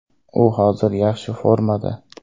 U hozir yaxshi formada.